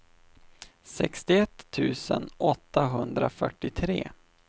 sextioett tusen åttahundrafyrtiotre